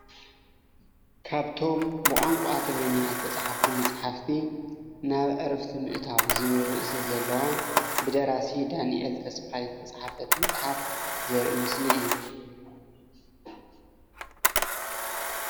ካብቶም ብቋንቋ ትግርኛ ዝተፃሓፉ መፅሓፍቲ ናብ ዕረፍቲ ምእታው ዝብል ርእሲ ዘለዎም ብደራሲ ዳኒኤል ተስፋይ ዝተፃሓፈት መፅሓፍ ዘርኢ ምስሊ እዩ፡፡